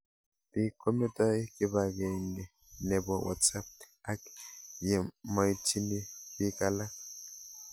Pik kometai kipag'eng'e nepo WhatsApp ak ye maitchini pik alak